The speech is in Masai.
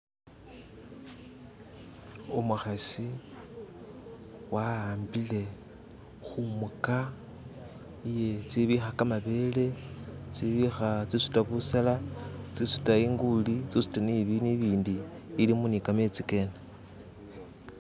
umuhasi wahambile humuka iye tsibiha kamabele tsibiha tsisuta busela tsisuta inguli tsisuta ni bindu ibindi ilimu nikametsi kene